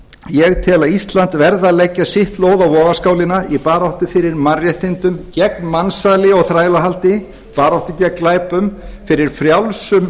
ég tel að ísland verði að leggja sitt lóð á vogarskálina í baráttu fyrir mannréttindum gegn mansali og þrælahaldi baráttu gegn glæpum fyrir frjálsum